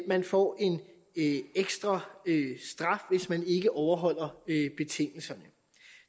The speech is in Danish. man får en ekstra straf hvis man ikke overholder betingelserne